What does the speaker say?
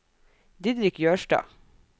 Didrik Jørstad